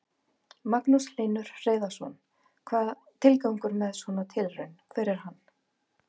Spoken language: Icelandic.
Magnús Hlynur Hreiðarsson: Hvað, tilgangur með svona tilraun, hver er hann?